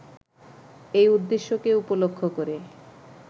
এই উদ্দেশ্যকে উপলক্ষ করে